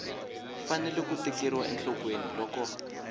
fanele ku tekeriwa enhlokweni loko